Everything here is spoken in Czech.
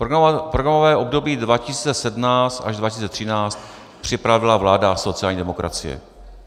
Programové období 2017 až 2013 připravila vláda sociální demokracie.